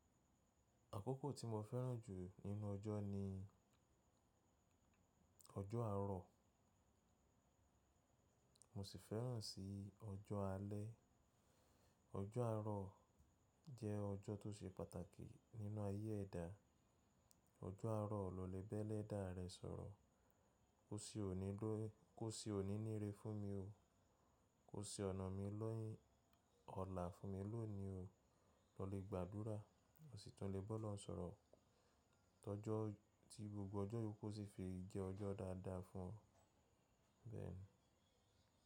Àkókò tí mo fẹ́ràn jù nínú ọjọ́ ni ọjọ́ àárọ̀, mo sì fẹ́ràn si ọjọ́ alẹ́. Ọjọ́ àárọ̀ jẹ́ ọjọ́ tó ṣe pàtàkì nínú ayé ẹ̀dà. Ọjọ́ àárọ̀ ló le bẹ́lẹ̀dá rẹ̀ sọ̀rọ̀. Kò se òní ló, kò sí òní nírè fún mi o. Kò se ọ̀nà mi ni, ọlá fún mi lónìí o. Ọ lè gbàdúrà, ọ̀sìtún lè bọ́ lóhùn sọ̀rọ̀. Tọ́jọ́ tí gbogbo ọjọ́ iyo ku o sì fi jẹ́ ọjọ́ dáadáa fún ọ. Bẹ́ẹ̀ ni.